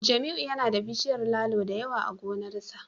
Jamiu yana da bishiyar lalo da yawa a gonarsa